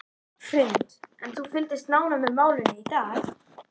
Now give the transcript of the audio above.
Hrund: En þú fylgdist nánar með málinu í dag?